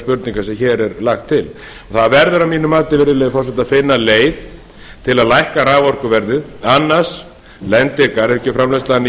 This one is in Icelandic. spurningar sem hér er lagt til það verður að mínu mati virðulegi forseti að finna leið til að lækka raforkuverðið annars lendir garðyrkjuframleiðslan